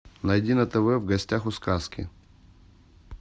найди на тв в гостях у сказки